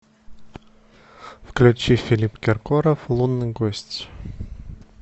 включи филипп киркоров лунный гость